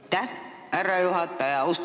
Aitäh, härra juhataja!